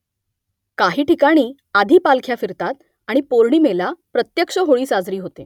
काही ठिकाणी आधी पालख्या फिरतात आणि पौर्णिमेला प्रत्यक्ष होळी साजरी होते